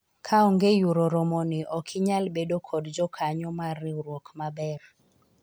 kaonge yuoro romo ni ok inyal bedo kod jokanyo mar riwruok maber